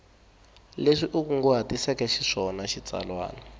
leswi u kunguhatiseke xiswona xitsalwana